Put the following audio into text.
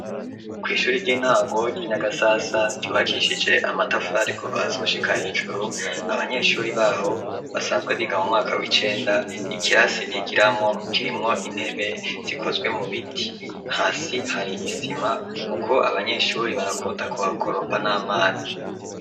Kw'ishuri ry'intango ryi Nyagasasa ryubakishije amatafari kuva hasi gushika hejuru abanyeshuri baho basanzwe biga mu mwaka w'icenda ikirasi bigiramwo kirimwo intebe zikozwe mu biti hasi hari isima kuko abanyeshuri barakunda kuhakoropa n'amazi.